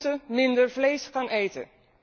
Wij moeten minder vlees gaan eten!